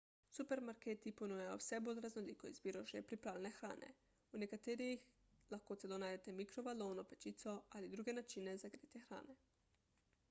supermarketi ponujajo vse bolj raznoliko izbiro že pripravljene hrane v nekaterih lahko najdete celo mikrovalovno pečico ali druge načine za gretje hrane